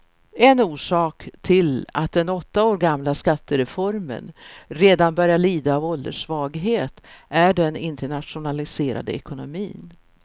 En orsak till att den åtta år gamla skattereformen redan börjar lida av ålderssvaghet är den internationaliserade ekonomin.